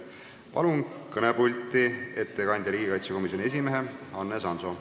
Palun kõnepulti ettekandjaks riigikaitsekomisjoni esimehe Hannes Hanso.